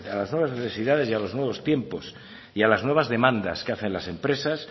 las nuevas necesidades y a los nuevos tiempos y a las nuevas demandas que hacen las empresas